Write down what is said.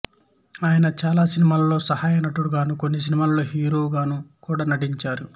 ఆయన చాలా సినిమాల్లో సహాయ నటుడిగానూ కొన్ని సినిమాల్లో హీరోగాను కూడా నటించారు